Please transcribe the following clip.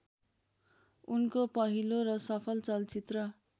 उनको पहिलो र सफल चलचित्र